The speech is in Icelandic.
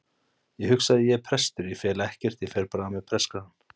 Ég hugsaði: Ég er prestur, ég fel ekkert og fer bara með prestakragann.